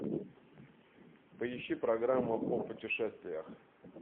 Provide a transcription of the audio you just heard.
поищи программу о путешествиях